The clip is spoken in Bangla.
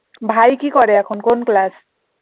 ভাই কি করে এখন কোন class?